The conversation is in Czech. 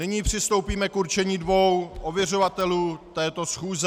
Nyní přistoupíme k určení dvou ověřovatelů této schůze.